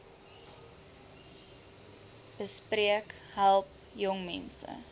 besp help jongmense